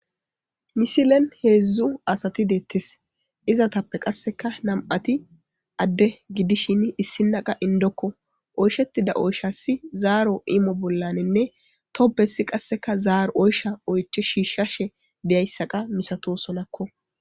Misilen heedzdzu asati deettes izatappe qasseka nam'ati adde gidishin issinaqa indokko oyshetida oyshasi zaaro imo bollanenne tobesi qasseka zaaro oysha oyche shiishshashe deyayssaqa misato solakko